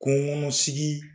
Kungo kɔnɔ sigi